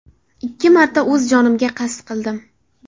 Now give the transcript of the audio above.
Ikki marta o‘z jonimga qasd qildim.